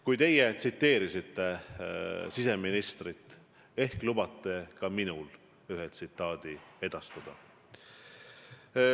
Kui teie tsiteerisite siseministrit, siis ehk lubate ka minul ühe tsitaadi esitada.